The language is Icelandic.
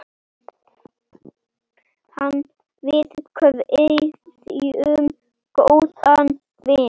Við kveðjum góðan vin.